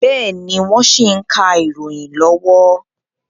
Bẹ́ẹ̀ni, wọ́n ṣì ń ka ìròyìn lọ́wọ́